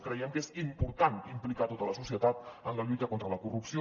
creiem que és important implicar tota la societat en la lluita contra la corrupció